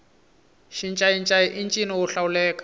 xincayincayi i ncino wo hlawuleka